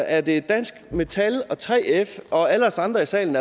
er det er dansk metal og 3f og alle os andre i salen